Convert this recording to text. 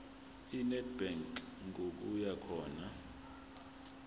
enedbank ngokuya khona